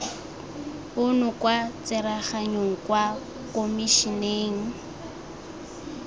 ono kwa tsereganyong kwa komišeneng